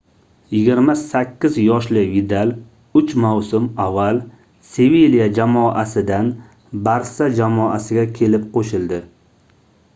28 yoshli vidal uch mavsum avval sevilya jamoasidan barsa jamoasiga kelib qoʻshildi